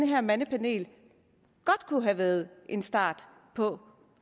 her mandepanel godt kunne have været en start på